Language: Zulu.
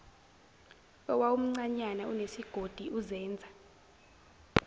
owawumncanyana unesigodi uzenza